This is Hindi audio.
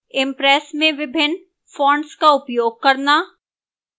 impress में विभिन्न fonts का उपयोग करना